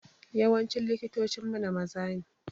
Yawancin likitocin mana maza ne.